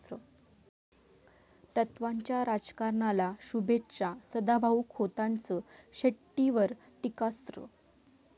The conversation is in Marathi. तत्वाच्या राजकारणाला शुभेच्छा, सदाभाऊ खोतांचं शेट्टींवर टीकास्त्र